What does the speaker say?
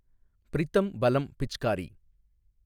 Pritam Balam Pichkari